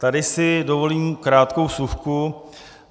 Tady si dovolím krátkou vsuvku.